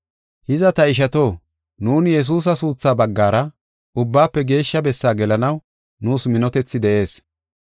Hiza, ta ishato, nuuni Yesuusa suuthaa baggara Ubbaafe Geeshsha Bessaa gelanaw nuus minotethi de7ees.